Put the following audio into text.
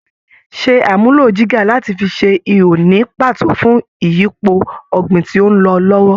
Ṣe àmúlò jígà láti fi ṣe ihò ní pàtó fún ìyípo ọ̀gbìn tí ó ń lọ lọ́wọ́